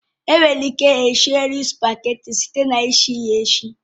Enwere ike esi nri sụpageti site na isi ya esi